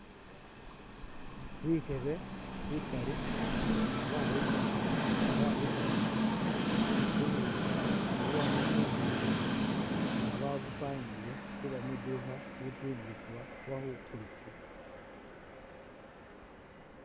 Bikebe bikali nga babipanga nga babitamu bubukhi bubwama mu nzukhi nga babupangile mwiduukha khutundibwa oba khukulisibwa.